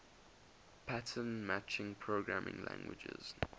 pattern matching programming languages